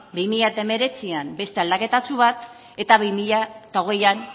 bi mila hemeretzian beste aldaketatxo bat eta bi mila hogeian